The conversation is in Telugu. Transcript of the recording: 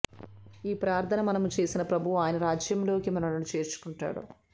ఈ ప్రార్థన మనము చేసిన ప్రభువు ఆయన రాజ్యములోనికి మనలను చేర్చుకుంటాడు